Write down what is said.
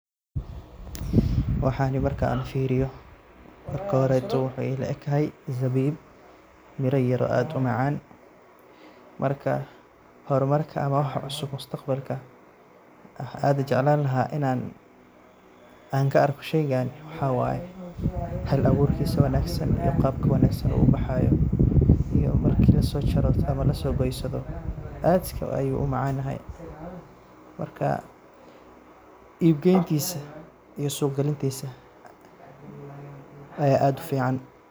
Waxani marka AA firiyoh, waxa ila egtahay zabib Mira yarvoo aad u macan marka hormarka amah wax cusub wax aad u jeclani lahay inan an ka argoh sheeygan waxawaye hala abuurkisa wanagsan Qabka wanagsan oo ubaxayo iyo marki lasojaroh amah lasogoyoh, aad ayu u macantahay maraka sug geygika sogalintisa Aya aad u fican.